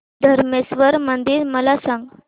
धरमेश्वर मंदिर मला सांग